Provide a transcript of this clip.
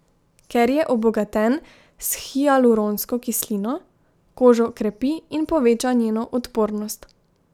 Ker je obogaten s hialuronsko kislino, kožo krepi in poveča njeno odpornost.